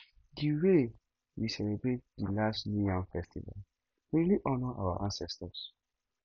di wey we celebrate di last new yam festival really honour our ancestors